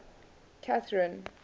catherine